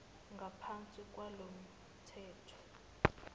ngaphansi kwalo mthetho